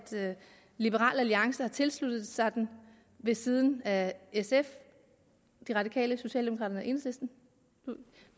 liberal alliance har tilsluttet sig det ved siden af sf de radikale socialdemokraterne og enhedslisten nu